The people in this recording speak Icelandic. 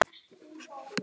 Ég kyssi hann.